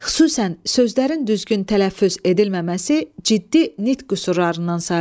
Xüsusən, sözlərin düzgün tələffüz edilməməsi ciddi nitq qüsurlarından sayılır.